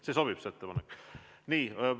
Kas see ettepanek sobib?